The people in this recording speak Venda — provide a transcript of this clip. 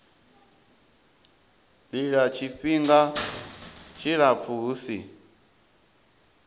lila tshifhinga tshilapfu hu si